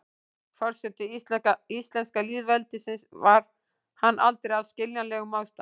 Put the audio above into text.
forseti íslenska lýðveldisins var hann aldrei af skiljanlegum ástæðum